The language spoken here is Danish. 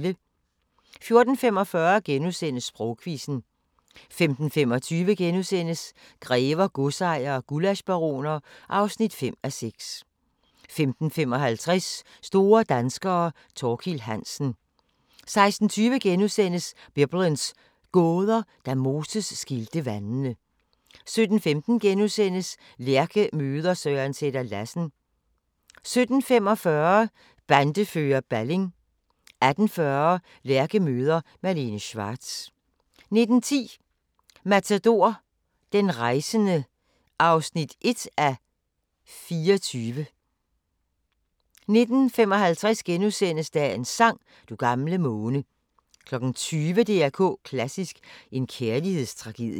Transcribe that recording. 14:45: Sprogquizzen * 15:25: Grever, godsejere og gullaschbaroner (5:6)* 15:55: Store danskere – Thorkild Hansen 16:20: Biblens gåder – Da Moses skilte vandene * 17:15: Lærke møder Søren Sætter-Lassen * 17:45: Bandefører Balling 18:40: Lærke møder Malene Schwartz 19:10: Matador – Den rejsende (1:24) 19:55: Dagens sang: Du gamle måne * 20:00: DR K Klassisk: En kærlighedstragedie